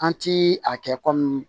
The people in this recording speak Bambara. An ti a kɛ kɔmi